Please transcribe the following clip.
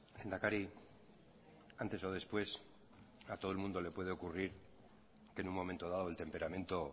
lehendakari antes o después a todo el mundo le puede ocurrir que en un momento dado el temperamento